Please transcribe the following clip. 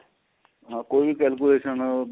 ਹਾਂ ਕੋਈ ਵੀ calculation